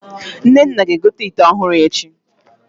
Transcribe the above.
Nnenna ga-egote ịte ọhụrụ echi